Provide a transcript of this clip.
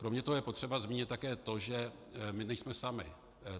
Kromě toho je potřeba zmínit také to, že my nejsme sami.